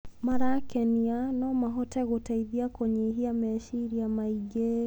marakenia no mahote gũteithiakũnyihia meciria maingĩ.